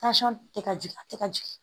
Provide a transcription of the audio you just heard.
tɛ ka jigin a tɛ ka jigin